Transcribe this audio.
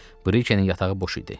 Brikenin yatağı boş idi.